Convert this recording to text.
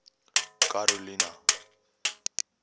karolina